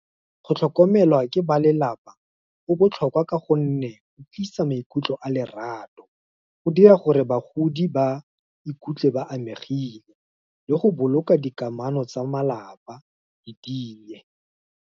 Go tlhokomelwa ke ba lelapa, go botlhokwa ka gonne, go tlisa maikutlo a lerato, go dira gore bagodi ba ikutlwe ba amegile, le go boloka dikamano tsa malapa di ti e.